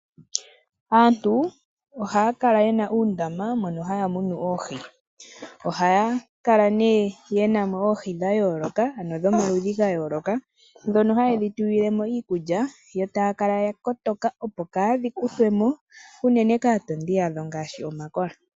Aantu ohaya kala ye na uundama wokumuna oohi. Ohaya kala mo nee ye na mo oohi dha yooloka, ano dhomaludhi ga yooloka, dhono haye dhi tulile mo iikulya yo taya kala ya kotoka opo kaadhi kuthwe mo unene kaatondi yadho ngaashi omakola.